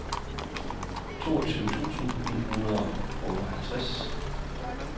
toogtyve tusind ni hundrede og otteoghalvtreds